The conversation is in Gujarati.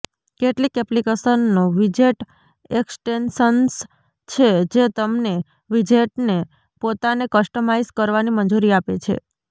કેટલીક એપ્લિકેશનો વિજેટ એક્સ્ટેન્શન્સ છે જે તમને વિજેટને પોતાને કસ્ટમાઇઝ કરવાની મંજૂરી આપે છે